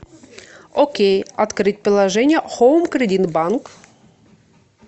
окей открыть приложение хоум кредит банк